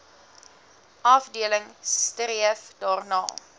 afdeling streef daarna